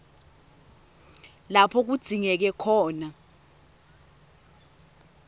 lapho kudzingeke khona